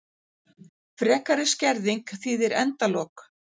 Frekari skerðing þýðir endalok